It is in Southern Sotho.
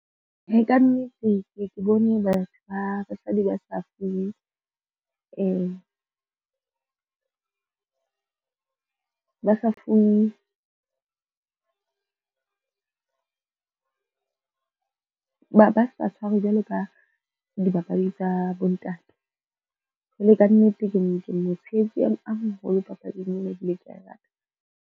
Ee, kannete ke ye ke bone batho ba basadi ba sa tshwarwe jwalo ka dibapadi tsa bontate. Jwale kannete ke mo tshehetse a moholo papading ena, ebile kea e rata.